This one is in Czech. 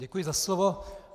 Děkuji za slovo.